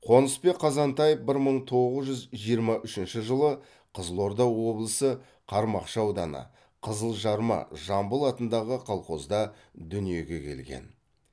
қонысбек қазантаев бір мың тоғыз жүз жиырма үшінші жылы қызылорда облысы қармақшы ауданы қызылжарма жамбыл атындағы колхозда дүниеге келген